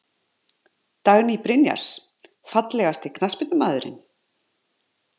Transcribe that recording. Dagný Brynjars Fallegasti knattspyrnumaðurinn?